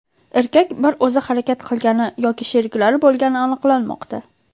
Erkak bir o‘zi harakat qilgani yoki sheriklari bo‘lgani aniqlanmoqda.